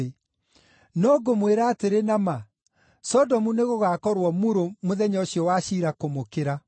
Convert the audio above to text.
No ngũmwĩra atĩrĩ na ma, Sodomu nĩgũgakorwo murũ mũthenya ũcio wa ciira kũmũkĩra.”